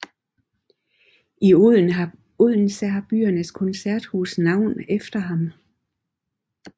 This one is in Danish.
I Odense har byens koncerthus navn efter ham